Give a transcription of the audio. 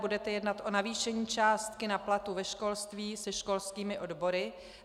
Budete jednat o navýšení částky na platy ve školství se školskými odbory?